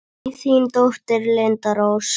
Þín dóttir, Linda Rós.